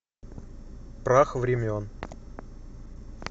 прах времен